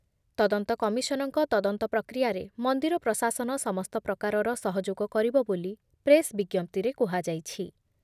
ତଦନ୍ତ କମିଶନଙ୍କ ତଦନ୍ତ ପ୍ରକ୍ରିୟାରେ ମନ୍ଦିର ପ୍ରଶାସନ ସମସ୍ତ ପ୍ରକାରର ସହଯୋଗ କରିବ ବୋଲି ପ୍ରେସ୍ ବିଜ୍ଞପ୍ତିରେ କୁହାଯାଇଛି ।